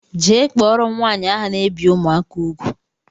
Jee kpọrọ m nwaanyị ahụ na ebi ụmụaka ùgwù!!!!